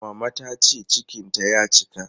Mama ta ce cikinta ya cika.